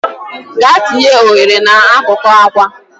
Gaa tinye oghere n'akụkụ akwa!.